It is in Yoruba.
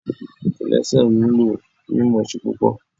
Kòlẹ́sẹ̀ ò nílò mímọ̀ọ́ṣé púpò